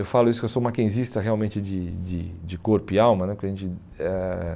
Eu falo isso porque eu sou Mackenzista realmente de de de corpo e alma né. eh